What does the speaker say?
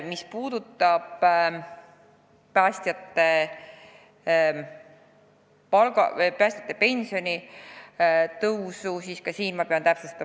Mis puudutab päästjate pensioni tõusu, siis ka seda pean täpsustama.